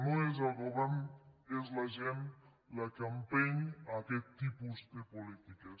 no és el govern és la gent la que empeny aquest tipus de polítiques